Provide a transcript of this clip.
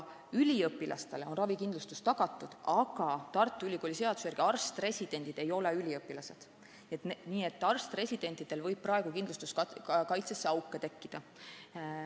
Üliõpilastele on ravikindlustus tagatud, aga Tartu Ülikooli seaduse järgi arst-residendid ei ole üliõpilased, nii et arst-residentidel võib praegu kindlustuskaitsesse auke tekkida.